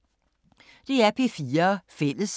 DR P4 Fælles